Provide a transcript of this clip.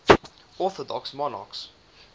orthodox monarchs